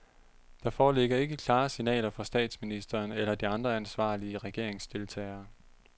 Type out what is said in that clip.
Der foreligger ikke klare signaler fra statsministeren eller de andre ansvarlige regeringsdeltagere.